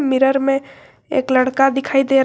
mirror में एक लड़का दिखाई दे रहा--